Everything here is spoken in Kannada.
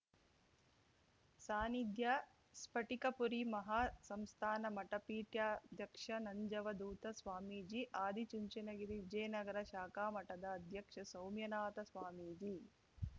ಸಾನ್ನಿಧ್ಯ ಸ್ಪಟಿಕಪುರಿ ಮಹಾಸಂಸ್ಥಾನ ಮಠ ಪೀಠಾಧ್ಯಕ್ಷ ನಂಜವಧೂತ ಸ್ವಾಮೀಜಿ ಆದಿಚುಂಚನಗಿರಿ ವಿಜಯನಗರ ಶಾಖಾ ಮಠದ ಅಧ್ಯಕ್ಷ ಸೌಮ್ಯನಾಥ ಸ್ವಾಮೀಜಿ